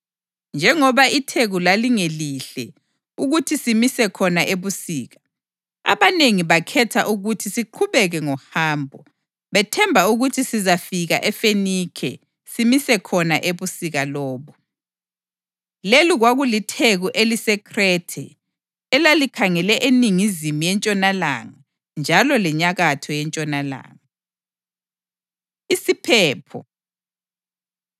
Njengoba itheku lalingelihle ukuthi simise khona ebusika, abanengi bakhetha ukuthi siqhubeke ngohambo, bethemba ukuthi sizafika eFenikhe simise khona ebusika lobo. Leli kwakulitheku eliseKhrethe, elalikhangele eningizimu yentshonalanga njalo lenyakatho yentshonalanga. Isiphepho